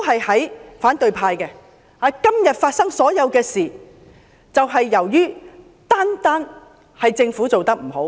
他們強調今天發生的所有事情，純粹因為政府做得不好。